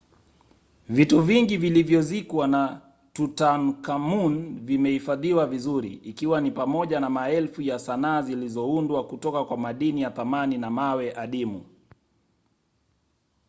vitu vingi vilivyozikwa na tutankhamun vimehifadhiwa vizuri ikiwa ni pamoja na maelfu ya sanaa zilizoundwa kutoka kwa madini ya thamani na mawe adimu